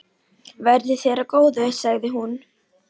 Verði þér að góðu, sagði hún.